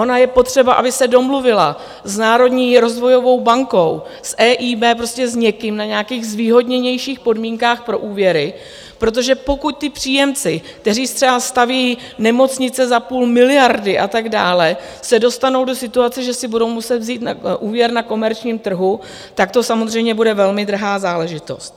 Ono je potřeba, aby se domluvila s Národní rozvojovou bankou, s EIB, prostě s někým na nějakých zvýhodněnějších podmínkách pro úvěry, protože pokud ti příjemci, kteří třeba staví nemocnice za půl miliardy a tak dále, se dostanou do situace, že si budou muset vzít úvěr na komerčním trhu, tak to samozřejmě bude velmi drahá záležitost.